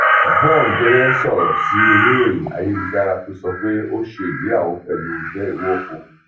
yvonne jẹgẹ sọrọ sí oníròhìn ayélujára tó sọ pé ó ṣe ìgbéyàwó pẹlú dell nwoko